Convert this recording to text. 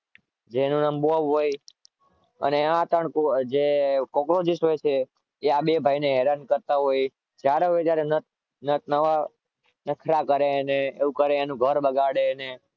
જેનું નામ બોંબ હોય અને ત્રણ જે cockroach હોય એ આ ભાઈ ને હેરાન કરતા હોય જ્યારે હોય ત્યારે અને નટ નવા નખરા કરે અને એનું ઘર બગાડે